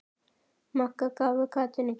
Magga gáfu gatinu gætur.